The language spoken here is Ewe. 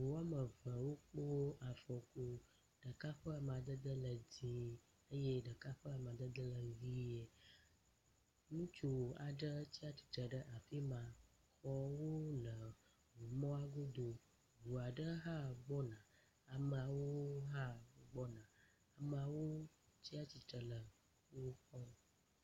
Ŋu wɔme eve wokpo afɔku. Ɖeka ƒe amadede le dzi eye ɖeka ƒe amadede le ʋi. Ŋutsu aɖe tsi atsitre ɖe afima. Xɔwo le ŋumɔ godo. ŋu aɖe hã gbɔna, ameawo hã gbɔna. Ameawo tsi atsitre le wo kpɔm.